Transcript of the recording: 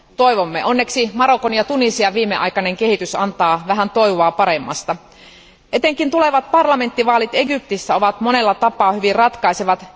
toivomme. Onneksi Marokon ja Tunisian viimeaikainen kehitys antaa vähän toivoa paremmasta. Etenkin tulevat parlamenttivaalit Egyptissä ovat monella tapaa hyvin ratkaisevat.